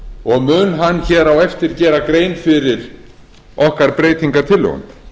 og mun hann hér á eftir gera grein fyrir okkar breytingartillögum